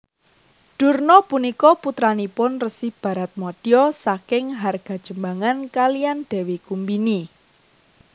Durna punika putranipun Resi Baratmadya saking Hargajembangan kaliyan Dewi Kumbini